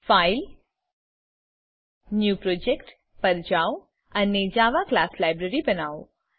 file new project પર જાઓ અને જાવા ક્લાસ લાઇબ્રેરી બનવો